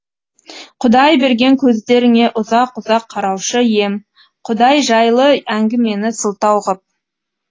құдай берген көздеріңе ұзақ ұзақ қараушы ем құдай жайлы әңгімені сылтау ғып